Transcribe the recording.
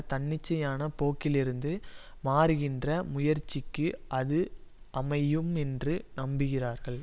தன்னிச்சையான போக்கிலிருந்து மாறுகின்ற முயற்சிக்கு அது அமையும் என்று நம்புகிறார்கள்